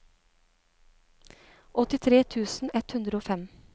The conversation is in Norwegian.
åttitre tusen ett hundre og fem